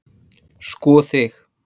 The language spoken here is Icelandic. Sko þig!